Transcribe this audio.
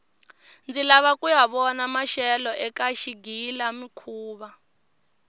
ndzi lava kuya vona maxelo eka xigila mihkuva